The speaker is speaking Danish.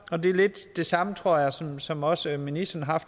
og det er lidt de samme tanker tror jeg som som også ministeren har